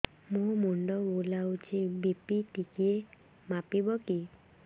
ମୋ ମୁଣ୍ଡ ବୁଲାଉଛି ବି.ପି ଟିକିଏ ମାପିବ କି